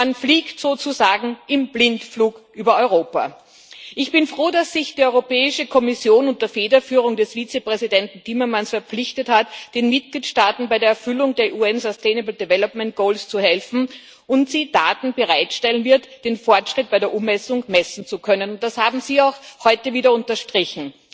Man fliegt sozusagen im Blindflug über Europa. Ich bin froh, dass sich die Europäische Kommission unter Federführung des Vizepräsidenten Timmermans verpflichtet hat, den Mitgliedstaaten bei der Erfüllung der VN Ziele für eine nachhaltige Entwicklung zu helfen, und dass sie Daten bereitstellen wird, um den Fortschritt bei der Umsetzung messen zu können und das haben Sie auch heute wieder unterstrichen.